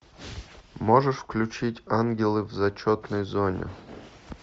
можешь включить ангелы в зачетной зоне